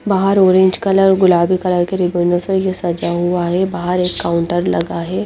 बहार orange colour गुलाबी colour सजाया हुआ है बहार एक काउंटर लगा है।